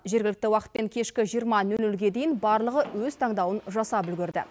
жергілікті уақытпен кешкі жиырма нөл нөлге дейін барлығы өз таңдауын жасап үлгерді